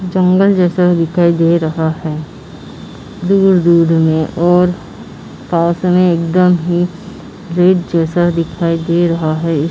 जंगल जैसा दिखाई दे रहा है दूर-दूर में और पास में एकदम ही रेड जैसा दिखाई दे रहा है।